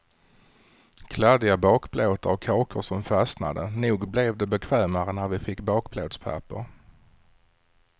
Kladdiga bakplåtar och kakor som fastnade, nog blev det bekvämare när vi fick bakplåtspapper.